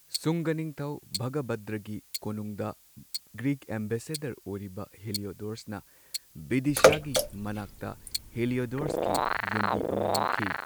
ꯁꯨꯡꯒꯥ ꯅꯤꯡꯊꯧ ꯚꯒꯚꯗ꯭ꯔꯒꯤ ꯀꯣꯅꯨꯡꯗ ꯒ꯭ꯔꯤꯛ ꯑꯦꯝꯕꯦꯁꯦꯗꯔ ꯑꯣꯏꯔꯤꯕ ꯍꯦꯂꯤꯑꯣꯗꯣꯔꯁꯅ ꯕꯤꯗꯤꯁꯥꯒꯤ ꯃꯅꯥꯛꯇ ꯍꯦꯂꯤꯑꯣꯗꯣꯔꯁꯀꯤ ꯌꯨꯝꯕꯤ ꯑꯃ ꯌꯨꯡꯈꯤ꯫